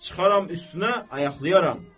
çıxaram üstünə, ayaqlayaram.